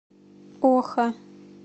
оха